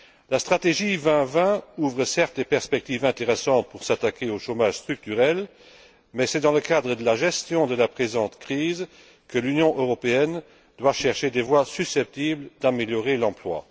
La stratégie 2020 ouvre, certes, des perspectives intéressantes pour s'attaquer au chômage structurel mais c'est dans le cadre de la gestion de la présente crise que l'Union européenne doit chercher des voies susceptibles d'améliorer l'emploi.